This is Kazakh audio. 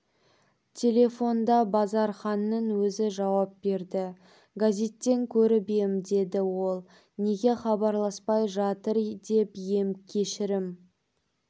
телефонда базарханның өзі жауап берді газеттен көріп ем деді ол неге хабарласпай жатыр деп ем кешірім